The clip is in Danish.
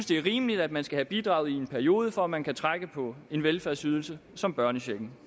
det er rimeligt at man skal have bidraget i en periode for at man kan trække på en velfærdsydelse som børnechecken